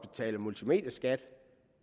betaler multimedieskat